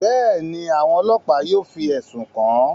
Bẹẹni, awọn ọlọpa yóò fi ẹsun kan an.